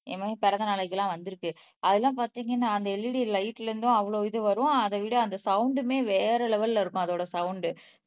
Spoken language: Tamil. என் மகன் பிறந்தநாளைக்கெல்லாம் வந்திருக்கு அதெல்லாம் பார்த்தீங்கன்னா அந்த LED லைட்ல இருந்தும் அவ்வளவு இது வரும் அதைவிட அந்த சவுண்ட்மே வேற லெவல்ல இருக்கும் அதோட சவுண்ட்